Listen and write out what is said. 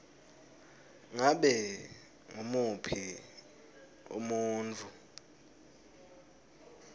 ngabe ngumuphi umuntfu